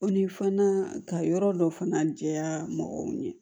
O ni fana ka yɔrɔ dɔ fana jɛya mɔgɔw ye